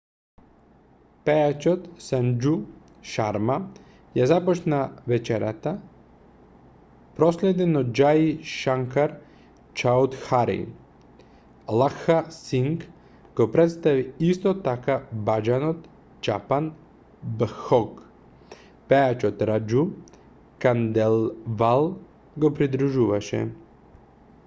пејачот санџу шарма ја започна вечерта проследен од џаи шанкар чаудхари лакха синг го претстави исто така баџанот чапан бхог пејачот раџу канделвал го придружуваше